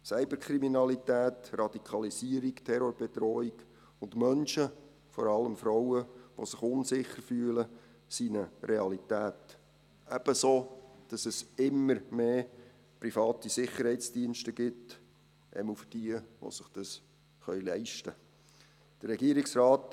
Cyberkriminalität, Radikalisierung, Terrorbedrohung und Menschen, vor allem Frauen, die sich unsicher fühlen, sind eine Realität, ebenso, dass es immer mehr private Sicherheitsdienste gibt, jedenfalls für diejenigen, die sich das leisten können.